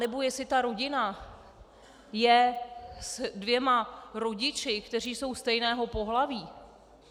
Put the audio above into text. Anebo jestli ta rodina je s dvěma rodiči, kteří jsou stejného pohlaví.